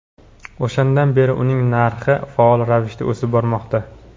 O‘shandan beri uning narxi faol ravishda o‘sib bormoqda.